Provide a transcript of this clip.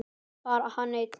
Bara hana eina.